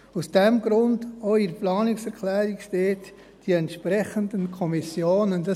Aus diesem Grund steht auch in der Planungserklärung: «die entsprechenden Kommissionen».